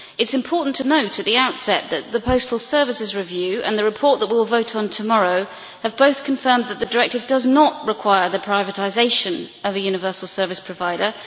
It is important to note at the outset that the Postal Services Review and the report that we will vote on tomorrow have both confirmed that the directive does not require the privatisation of a universal service provider.